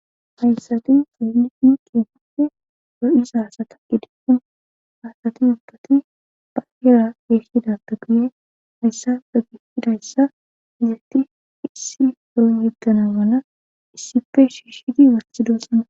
hayssati seeliin qeemappe ro7isasa ta7i deequn haasati ubbati ba yera geesshidata guye hayssa be gifidayssa izetti issi horo yeggana wana issife shiishidi warsidosana